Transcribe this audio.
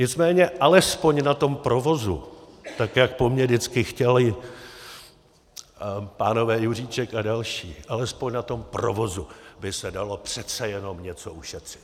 Nicméně alespoň na tom provozu, tak jak po mně vždycky chtěli pánové Juříček a další, alespoň na tom provozu by se dalo přece jenom něco ušetřit.